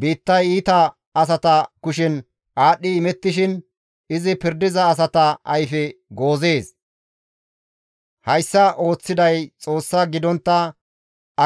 Biittay iita asata kushen aadhdhi imettishin izi pirdiza asata ayfe goozees; hayssa ooththiday Xoossa gidontta